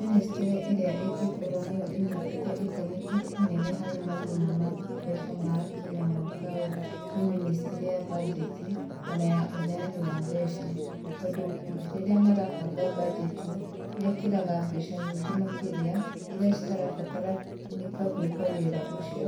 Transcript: Mĩnĩstrĩ ĩrĩa ĩngĩkorwo nĩyo ĩnyitĩte itemi inene harĩ mathĩna ma kĩmbeca, ma kinya mwaka ũyũ, nĩ mĩnĩstrĩ ya banjeti, ona ya ũheani wa mbeca, tondũ rĩrĩa marabanga banjeti, mekĩraga mbeca nyingĩ makĩria, iria citarabataranĩka gwĩka wĩra ũcio.